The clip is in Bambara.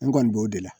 N kɔni b'o de la